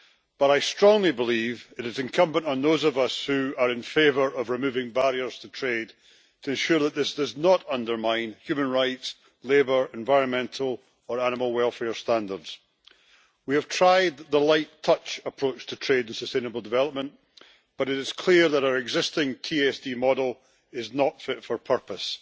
But I strongly believe it is incumbent on those of us who are in favour of removing barriers to trade to ensure that this does not undermine human rights, labour, environmental or animal welfare standards. We have tried the light-touch approach to trade with sustainable development, but it is clear that our existing TSD model is not fit for purpose.